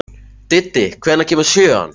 Diddi, hvenær kemur sjöan?